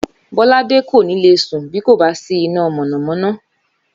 Bóládé kò ní lè sùn bí kò bá sí iná mònàmóná